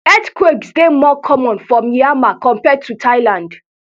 earthquakes dey more common for myanmar compared to thailand